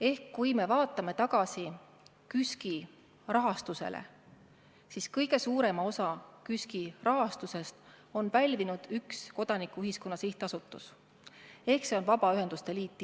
Ehk kui me vaatame tagasi KÜSK-i rahastusele, siis kõige suurema osa KÜSK-ile antud rahast on saanud üks kodanikuühiskonna sihtasutus ehk Vabaühenduste Liit.